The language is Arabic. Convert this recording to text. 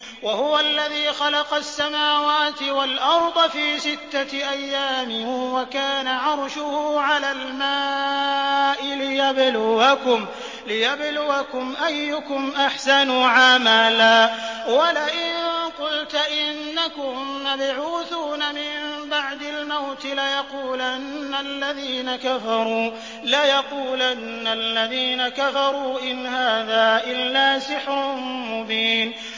وَهُوَ الَّذِي خَلَقَ السَّمَاوَاتِ وَالْأَرْضَ فِي سِتَّةِ أَيَّامٍ وَكَانَ عَرْشُهُ عَلَى الْمَاءِ لِيَبْلُوَكُمْ أَيُّكُمْ أَحْسَنُ عَمَلًا ۗ وَلَئِن قُلْتَ إِنَّكُم مَّبْعُوثُونَ مِن بَعْدِ الْمَوْتِ لَيَقُولَنَّ الَّذِينَ كَفَرُوا إِنْ هَٰذَا إِلَّا سِحْرٌ مُّبِينٌ